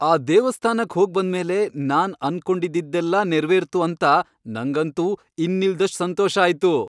ಆ ದೇವಸ್ಥಾನಕ್ ಹೋಗ್ಬಂದ್ಮೇಲೆ ನಾನ್ ಅನ್ಕೊಂಡಿದ್ದಿದ್ದೆಲ್ಲ ನೆರವೇರ್ತು ಅಂತ ನಂಗಂತೂ ಇನ್ನಿಲ್ದಷ್ಟ್ ಸಂತೋಷ ಆಯ್ತು.